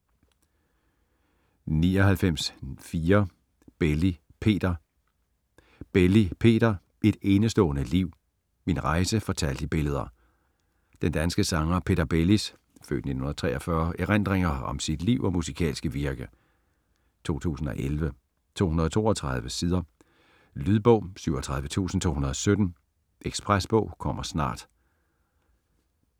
99.4 Belli, Peter Belli, Peter: Et enestående liv: min rejse fortalt i billeder Den danske sanger Peter Bellis (f. 1943) erindringer om sit liv og musikalske virke. 2011, 232 sider. Lydbog 37217 Ekspresbog - kommer snart